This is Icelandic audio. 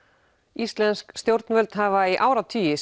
íslensk stjórnvöld hafa í áratugi